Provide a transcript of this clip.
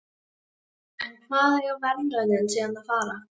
En í hvað eiga verðlaunin síðan að fara?